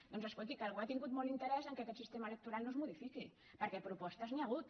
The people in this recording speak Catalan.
doncs escolti que algú ha tingut molt in·terès que aquest sistema electoral no es modifiqui per·què de propostes n’hi ha hagut